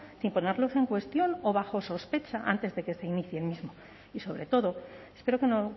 sin ponerlos en cuestión o bajo sospecha antes de que se inicie el mismo y sobre todo espero que no